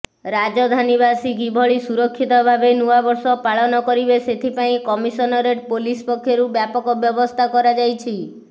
ରାଜଧାନୀବାସୀ କିଭଳି ସୁରକ୍ଷିତ ଭାବେ ନୂଆବର୍ଷ ପାଳନ କରିବେ ସେଥିପାଇଁ କମିସନରେଟ୍ ପୋଲିସ ପକ୍ଷରୁ ବ୍ୟାପକ ବ୍ୟବସ୍ଥା କରାଯାଇଛି